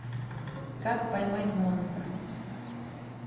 как поймать монстра